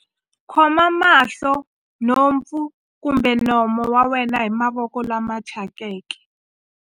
Khoma mahlo, nhompfu kumbe nomo wa wena hi mavoko lama thyakeke.